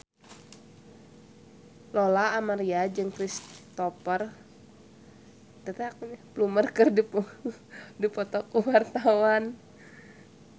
Lola Amaria jeung Cristhoper Plumer keur dipoto ku wartawan